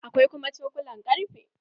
Akwai kuma cokulan ƙarfe.